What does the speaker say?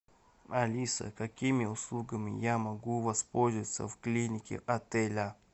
алиса какими услугами я могу воспользоваться в клинике отеля